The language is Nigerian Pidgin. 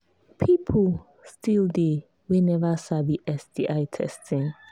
people still they we never sabi sti testing